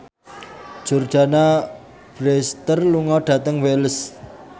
Jordana Brewster lunga dhateng Wells